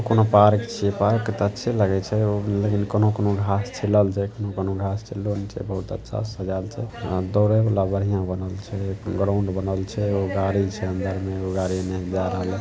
कोनो पार्क छीये पार्क ते अच्छे लगे छै ओ लेकिन कोनो-कोनो घास छिलल छै कोनो-कोनो घास छिललो ने छैबहुत अच्छा से सजाएल छै अ दौड़े वाला बढ़िया बनल छै ग्राउंड बनल छै अ एगो गाड़ी छै अंदर में अ एगो गाड़ी एने जाय रहले।